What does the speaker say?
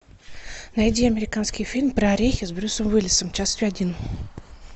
найди американский фильм про орехи с брюсом уиллисом часть один